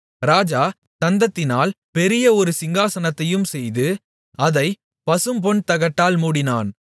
ராஜா தந்தத்தினால் பெரிய ஒரு சிங்காசனத்தையும் செய்து அதைப் பசும்பொன்தகட்டால் மூடினான்